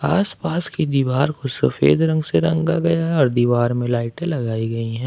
आसपास की दीवार को सफेद रंग से रंगा गया और दीवार में लाइटें लगाई गई है।